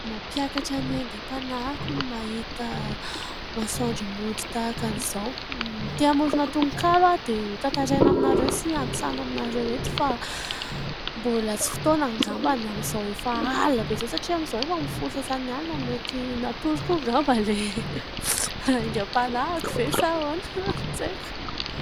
Mampiakatra ny aingam-panahiko ny mahita masoandro mody tahaka iza. Te hamorona tononkalo aho dia ho tantaraina aminareo sy antsaina aminareo eto. Fa mbola tsy fotoana angambany amin'izao efa alina be izao. Satria amin'izao efa amin'ny folo sy sasany alina, mety natory koa angamba ilay aingam-panahiko ve sa ahoana ? Tsy haiko.